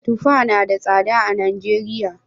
Tuffa na da tsada a Najeriya